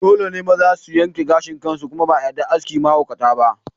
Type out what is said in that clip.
Dole ne maza su yanke gashin kansu kuma ba a yarda aski mahaukata ba.